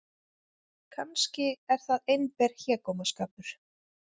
Kannski er það einber hégómaskapur.